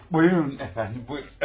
Buyurun, əfəndim, buyurun.